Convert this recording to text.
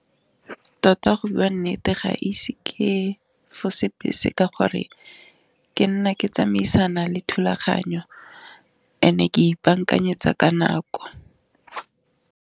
Tota go bua nnete ga ise ke fose bese ka gore ke nna ke tsamaisana le thulaganyo, and-e ke ipaakanyetsa ka nako.